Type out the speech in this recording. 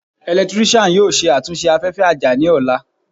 Eletiriki yoo ṣe atunṣe afẹfẹ aja ni ọla